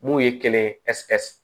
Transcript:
Mun ye kɛlɛ ye